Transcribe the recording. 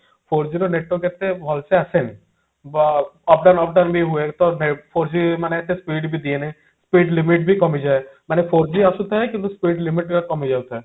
four G ର network ଏତେ ଭଲସେ ଆସେନି ବ off down off down ବି ହୁଏ ତ ଭେ four G ବି ଏତେ speed ବି ଦିଏନି speed limit ବି କମିଯାଏ ମାନେ four G ଆସୁଥାଏ କିନ୍ତୁ speed limit କମିଯାଉ ଥାଏ